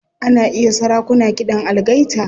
Ana iya sarakuna kiɗan algaita.